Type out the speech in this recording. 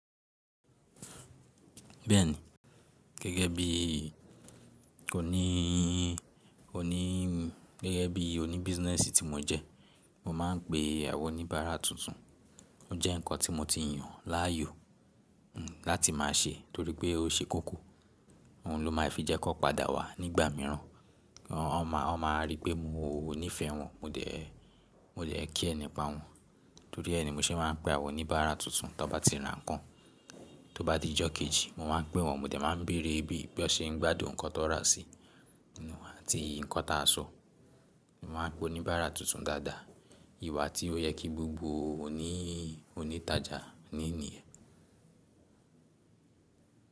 Bẹ́ẹ̀ni, gẹ́gẹ́ bí oní, oní, gẹ́gẹ́ bí oní business tí mo jẹ́, mo máa ń pe àwọn oníbárà tuntun. Ó jẹ́ ǹkan tí mo ti yàn láàyò, hmm, láti máa ṣe torí pé ó ṣe kókó, òhun lo máa fi jẹ́ kó padà wá nígbà míràn. Wọ́n ma, wọ́n ma ríi pé mo níìfẹ̀ẹ́ wọn, mo dẹ̀, mo dẹ̀ care nipa wọn, torí ẹ́ ni mo ṣe máa ń pe àwọn oníbárà tuntun tí wọ́n bá ti ra ǹnkan. Tó bá di ijó kejì, mo máa ń pé wọ́n, mo dẹ̀ máa ń bèrè bí won n ṣe ń gbádùn nǹkan tó ra si, àti nǹkan tí a sọ. Mo máa ń pe oníbárà tuntun dáadáa, ìwà tí ó yẹ kí gbogbo òní, oní ìtajà ní nìyẹ́.